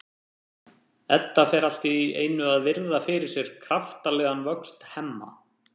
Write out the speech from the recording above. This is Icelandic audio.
Edda fer allt í einu að virða fyrir sér kraftalegan vöxt Hemma.